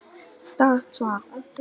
Rétt svar!